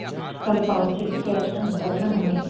ಸ್ವಲ್ಪ ಒಂದ್ ಚಿಟ್ಕೆಅಷ್ಟ್ ಅಂತರ್ ಅಲ್ಲ ಹಂಗೇ .